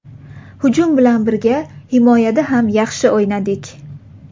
Hujum bilan birga himoyada ham yaxshi o‘ynadik.